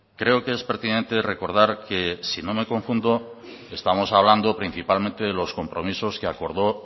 creo que es pertinente recordar que si no me confundo estamos hablando principalmente de los compromisos que acordó